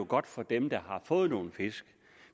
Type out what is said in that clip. godt for dem der har fået nogle fisk